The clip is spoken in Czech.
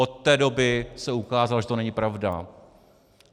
Od té doby se ukázalo, že to není pravda.